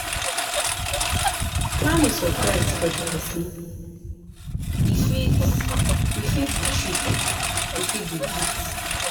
You fit volunteer to give your service to NGO to help the needy